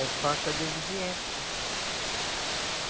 É falta de obediência.